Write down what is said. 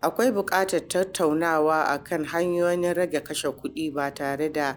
Akwai buƙatar tattaunawa kan hanyoyin rage kashe kuɗi ba tare da